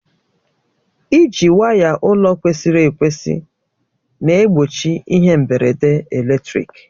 Iji waya ụlọ kwesịrị ekwesị na-egbochi ihe mgberede eletrik.